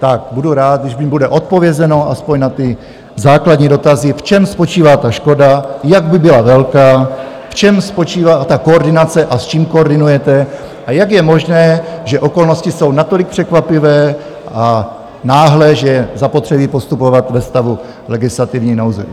Tak, budu rád, když mi bude odpovězeno aspoň na ty základní dotazy: v čem spočívá ta škoda, jak by byla velká, v čem spočívá ta koordinace a s čím koordinujete a jak je možné, že okolnosti jsou natolik překvapivé a náhlé, že je zapotřebí postupovat ve stavu legislativní nouze.